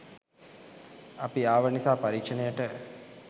අපි ආව නිසා පරීක්ෂණයට